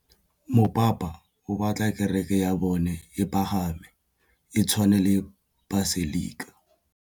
Mopapa o batla kereke ya bone e pagame, e tshwane le paselika.